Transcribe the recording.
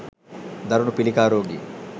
දරුණු පිළිකා රෝගීන්